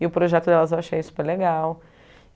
E o projeto delas eu achei super legal.